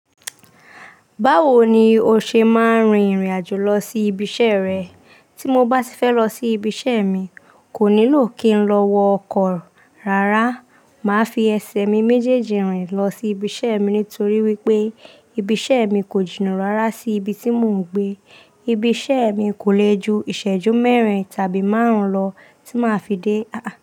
Báwo ni o ṣe máa ń rin ìrìn àjò lọ sí ibi iṣẹ́ rẹ? Tí mo bá ti fẹ́ lọ sí ibi iṣẹ́ mi, kò nílò kí n lọ wọ ọkọ̀ rárá. Màá fi ẹsẹ̀ mi méjèèjì rìn lọ sí ibi iṣẹ́ mi nítorí wípé ibi iṣẹ́ mi kò jìnà rárá sí ibi tí mò ń gbé. Ibi iṣẹ́ mi kò lè ju ìṣẹ́jú mẹ́rin tàbí márùn-ún lọ tí màá fi dé.